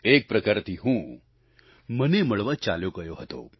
એક પ્રકારથી હું મને મળવા ચાલ્યો ગયો હતો